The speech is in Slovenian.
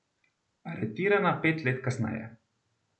Aretirana pet let kasneje.